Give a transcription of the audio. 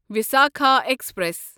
Visakha express